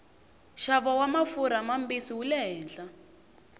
xavo wamafurha mambisi wule hehla